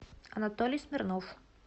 анатолий смирнов